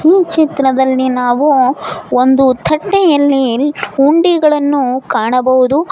ಈ ಚಿತ್ರದಲ್ಲಿ ನಾವು ಒಂದು ತಂಡೆಯಲ್ಲಿ ಹುಂಡಿಗಳನ್ನು ಕಾಣಬಹುದು.